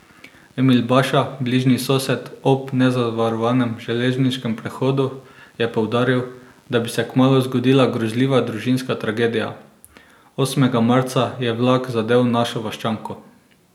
Emil Baša, bližnji sosed ob nezavarovanem železniškem prehodu, je poudaril, da bi se kmalu zgodila grozljiva družinska tragedija: 'Osmega marca je vlak zadel našo vaščanko.